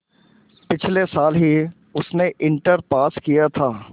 पिछले साल ही उसने इंटर पास किया था